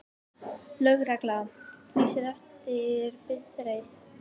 Lögregla lýsir eftir bifreið